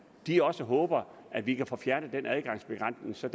de også håber at vi kan få fjernet den adgangsbegrænsning så